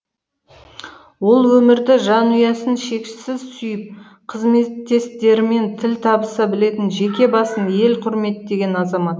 ол өмірді жанұясын шексіз сүйіп қызметтестерімен тіл табыса білетін жеке басын ел құрметтеген азамат